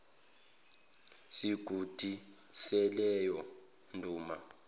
sigodi saleyo nduna